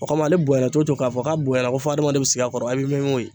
O kama , ale bonya cogo o cogo k'a fɔ k'a bonya ko fɔ hadamaden bɛ sigi a kɔrɔ a bɛ mɛn i m'o yen.